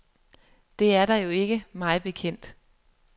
Det er der jo ikke, mig bekendt.